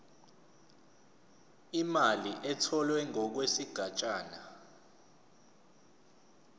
imali etholwe ngokwesigatshana